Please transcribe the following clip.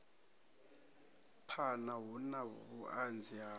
phana hu na vhuanzi ha